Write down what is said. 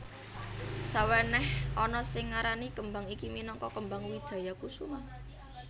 Sawenèh ana sing ngarani kembang iki minangka kembang Wijayakusuma